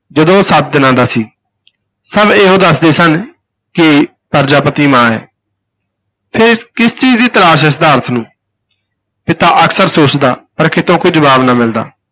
ਜਦੋਂ ਉਹ ਸੱਤ ਦਿਨਾਂ ਦਾ ਸੀ ਸਭ ਇਹੋ ਦਸਦੇ ਸਨ ਕਿ ਪ੍ਰਜਾਪਤੀ ਮਾਂ ਹੈ ਫਿਰ ਕਿਸ ਚੀਜ਼ ਦੀ ਤਲਾਸ਼ ਹੈ ਸਿਧਾਰਥ ਨੂੰ ਪਿਤਾ ਅਕਸਰ ਸੋਚਦਾ ਪਰ ਕਿਤੋਂ ਕੋਈ ਜਵਾਬ ਨਾ ਮਿਲਦਾ।